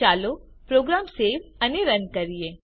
ચાલો program save અને run કરીએ